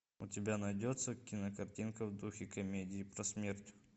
у тебя найдется кинокартинка в духе комедии про смерть